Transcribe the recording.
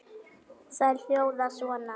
Þær hljóða svona